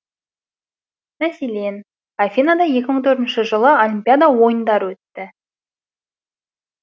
мәселен афинада екі мың төртінші жылы олимпиада ойындары өтті